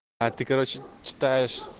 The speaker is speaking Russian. а ты короче читаешь